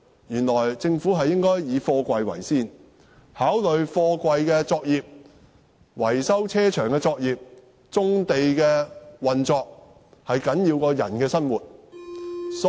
原來政府是以貨櫃為先，認為貨櫃、維修車場的作業、棕地的運作都較人的生活重要。